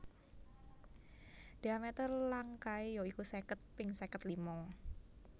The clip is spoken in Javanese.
Dhiameter langkae ya iku seket ping seket lima